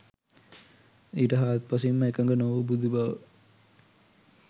ඊට හාත්පසින් ම එකඟ නොවූ බුදු බව